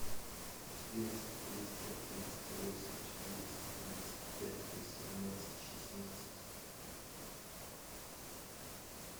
четыреста триста тридцать восемь четыреста тридцать пять восемнадцать шестнадцать